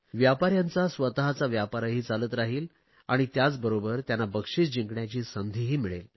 व्यापाऱ्यांचा स्वतचा व्यापारही चालत राहील आणि त्याचबरोबर त्यांना बक्षिस जिंकण्याची संधीही मिळेल